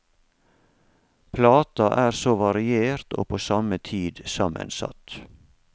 Plata er så variert og på samme tid sammensatt.